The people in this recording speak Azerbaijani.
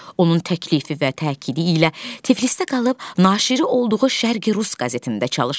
Onun təklifi və təkidi ilə Tiflisdə qalıb naşiri olduğu Şərqi Rus qəzetində çalışır.